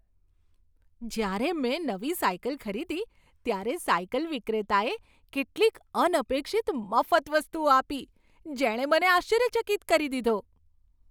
જ્યારે મેં નવી સાયકલ ખરીદી ત્યારે સાયકલ વિક્રેતાએ કેટલીક અનપેક્ષિત મફત વસ્તુઓ આપી, જેણે મને આશ્ચર્યચકિત કરી દીધો.